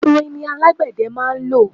ìrìn ni alágbẹ̀dẹ máa ń lọ